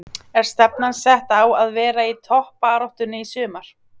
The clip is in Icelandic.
Er stefnan sett á að vera í toppbaráttunni í sumar?